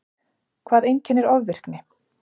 Hvað einkennir ofvirkni?